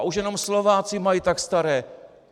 A už jenom Slováci mají tak staré!